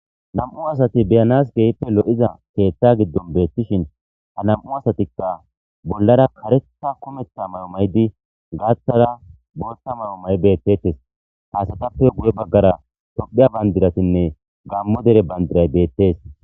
Nam'u asati be'anas keehipe lo'iza keetha gidon beetishin ja nam'u asatika bolara karetha kumetha mayo mayidi gaathara bootha mayo mayidi beetetes ha asatape guye bagara tophiya bandiratine gamo dere bandiray beetes.